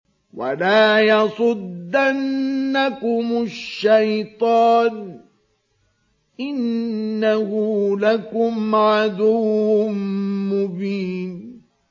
وَلَا يَصُدَّنَّكُمُ الشَّيْطَانُ ۖ إِنَّهُ لَكُمْ عَدُوٌّ مُّبِينٌ